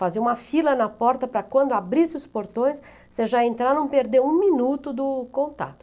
Fazer uma fila na porta para quando abrisse os portões, você já entrar e não perder um minuto do contato.